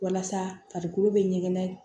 Walasa farikolo bɛ ɲɛgɛn